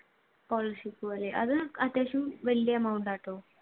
scholarship പോലെ അത് അത്യാവശ്യം വലിയ amount ആട്ടോ